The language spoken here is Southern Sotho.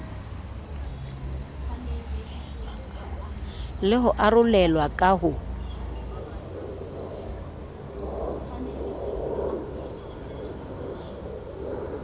le ho arolelwa ka ho